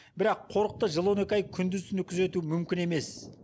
бірақ қорықты жыл он екі ай күндіз түні күзету мүмкін емес